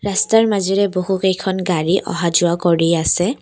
ৰাস্তাৰ মাজেৰে বহু কেইখন গাড়ী অহা যোৱা কৰি আছে।